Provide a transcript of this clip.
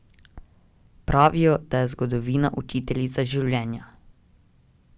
Pravijo, da je zgodovina učiteljica življenja.